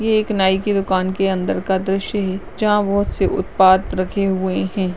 ये एक नाई की दुकान के अंदर का द्रिश्य है जहाँ बहुत से उद्पाद रखे हुए हैं।